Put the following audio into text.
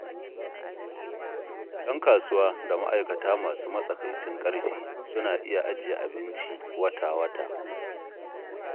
Ƴan kasuwa da ma'aikata masu matsakaicin ƙarfi suna iya ajiye abinci wata-wata.